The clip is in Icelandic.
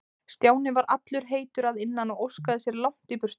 Stjáni var allur heitur að innan og óskaði sér langt í burtu.